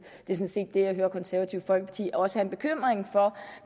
det er at det konservative folkeparti også er bekymret for om